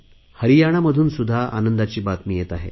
हरियाणामधून सुध्दा आनंदाची बातमी येत आहे